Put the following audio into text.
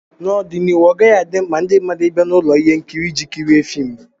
N'ọdịnihu, ọ ọgaghị adị mkpa ndị mmadụ bịa na ụlọ ihe nkiri iji kirie fim